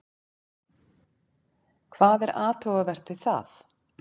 Hvað er athugavert við það?